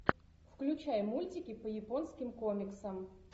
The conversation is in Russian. включай мультики по японским комиксам